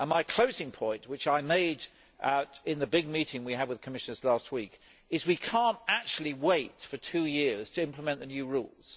My closing point, which I made in the big meeting we had with commissioners last week, is that we cannot actually wait for two years to implement the new rules.